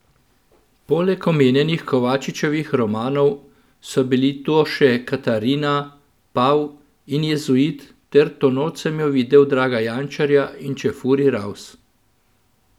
Poleg omenjenih Kovačičevih romanov so bili to še Katarina, pav in jezuit ter To noč sem jo videl Draga Jančarja in Čefurji raus!